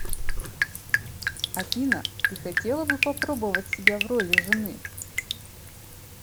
афина ты хотела бы попробовать себя в роли жены